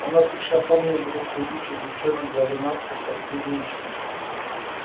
он отлично помнил двух худющих девчонок голенастых как кузнечики